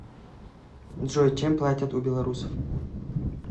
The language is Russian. джой чем платят у белорусов